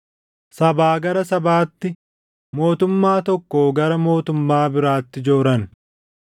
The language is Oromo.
sabaa gara sabaatti, mootummaa tokkoo gara mootummaa biraatti jooran.